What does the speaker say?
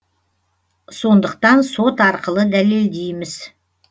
сондықтан сот арқылы дәлелдейміз